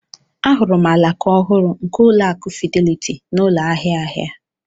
Ahụrụ m alaka ọhụrụ nke Ụlọakụ Fidelity n'ụlọ ahịa ahịa.